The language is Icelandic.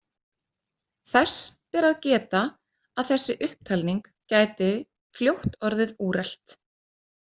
Þess ber að geta að þessi upptalning gæti fljótt orðið úrelt.